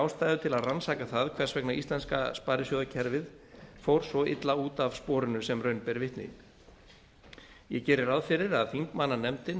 ástæðu til að rannsaka það hvers vegna íslenska sparisjóðakerfið fór svo illa út af sporinu sem raun ber vitni ég geri ráð fyrir að þingmannanefndin